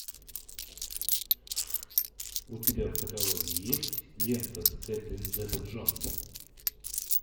у тебя в каталоге есть лента с кэтрин зета джонс